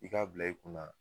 I ka bila i kunna